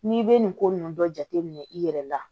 N'i bɛ nin ko ninnu dɔ jateminɛ i yɛrɛ la